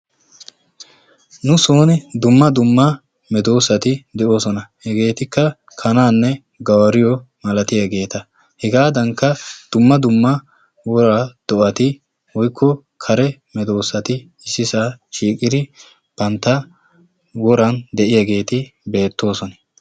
nu sooni dumma dumma medoossati de'oosona. hegeetikka kanaanne gawariyoo malatiyaageeta. hegaadankka dumma dumma woraa do'ati woyikko kare medoossati issisaa shiiqidi bantta woran de"iyaageeti beettoosona.